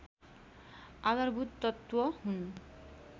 आधारभूत तत्त्व हुन्